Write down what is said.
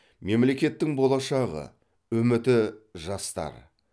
мемлекеттің болашағы үміті жастар